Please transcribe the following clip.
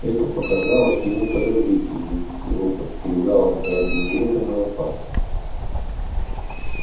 это показалось ему подозрительным его подстерегала какая то неведомая опасность